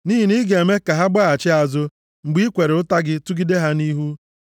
Nʼihi na i ga-eme ka ha gbaghachi azụ mgbe i kwere ụta gị tụgide ha nʼihu.